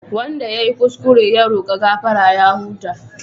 Wanda ya yi kuskure ya roka gafara ya huta.